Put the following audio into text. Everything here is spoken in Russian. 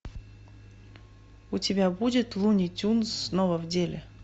у тебя будет луни тюнз снова в деле